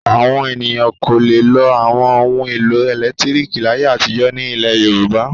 Àwọn ènìyàn kò le lo àwọn ohun-èlò ẹ̀lẹ́tíríkì láyé àtijọ́ ní ilẹ̀ Yorùbá.